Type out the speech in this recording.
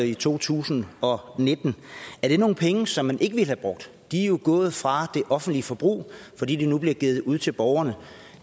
i to tusind og nitten nogle penge som man ikke ville have brugt de er jo gået fra det offentlige forbrug fordi de nu bliver givet ud til borgerne